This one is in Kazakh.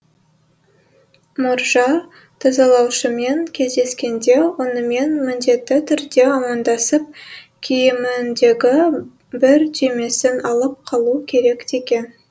мұржа тазалаушымен кездескенде онымен міндетті түрде амандасып киіміндегі бір түймесін алып қалу керек деген